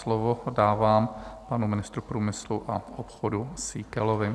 Slovo dávám panu ministrovi průmyslu a obchodu Síkelovi.